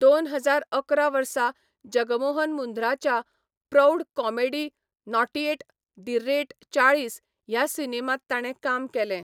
दोन हजार अकरा वर्सा जगमोहन मुंध्राच्या प्रौढ comedy naughty at the rate चाळीस ह्या सिनेमांत ताणें काम केलें.